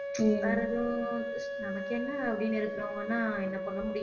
வேற எதுவும் நமக்கு என்ன அப்படீன்னு இருக்கிறவங்கன்னா என்ன பண்ண முடியும்